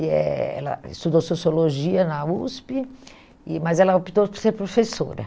E eh ela estudou sociologia na USP, e mas ela optou por ser professora.